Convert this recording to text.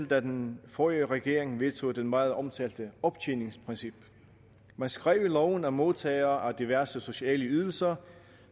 da den forrige regering vedtog det meget omtalte optjeningsprincip man skrev i loven at modtagere af diverse sociale ydelser